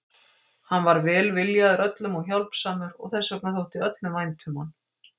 Hann var velviljaður öllum og hjálpsamur og þess vegna þótti öllum vænt um hann.